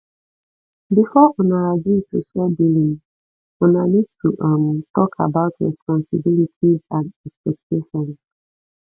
before una agree to share billing una need to um talk about responsibilities and expectations